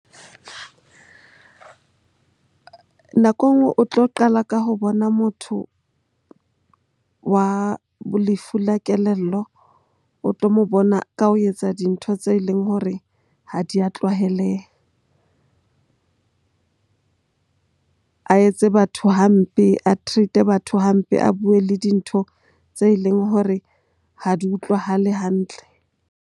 Nako enngwe o tlo qala ka ho bona motho wa lefu la kelello. O tlo mo bona ka ho etsa dintho tse leng hore ha di a tlwaeleha. A etse batho hampe, a treat-e batho hampe, a bue le dintho tse leng hore ha di utlwahale hantle.